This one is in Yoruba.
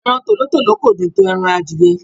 Ẹran Tòlótòló kò dùn tó ẹran adìẹ.